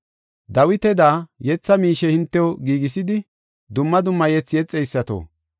Dawitada yetha miishe hintew giigisidi, dumma dumma yethi yexeysato,